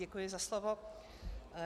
Děkuji za slovo.